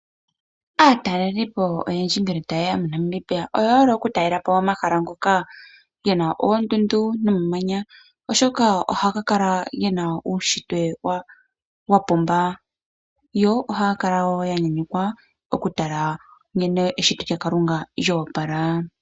Aatalelipo oyendji ngele taye ya moNamibia oye hole okutalela po omahala ngoka ge na oondundu nomamanya, oshoka ohaga kala ge na uunshitwe wa pumba nohaya kala wo ya nyanyukwa okukala ya tala nkene eshito lyaKalunga lyoopala.